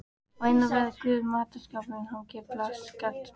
Á innanverðri hurð matarskápsins hangir plakat sem